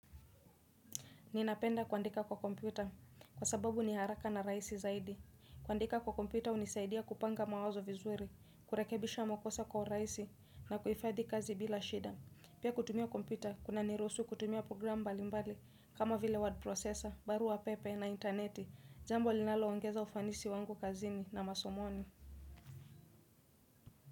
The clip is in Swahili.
Ninapenda kuandika kwa kompyuta kwa sababu ni haraka na rahisi zaidi. Kuandika kwa kompyua hunisaidia kupanga mawazo vizuri, kurekebisha makosa kwa urahisi na kuhifadhi kazi bila shida. Pia kutumia kompyuta kuna niruhusu kutumia program mbali mbali kama vile word processor, baru pepe na intaneti. Jambo linalo ongeza ufanisi wangu kazini na masomoni.